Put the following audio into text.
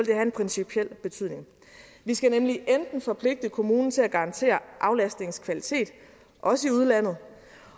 have en principiel betydning vi skal nemlig enten forpligte kommunen til at garantere aflastningens kvalitet også i udlandet